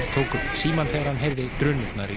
tók upp símann þegar hann heyrði drunurnar í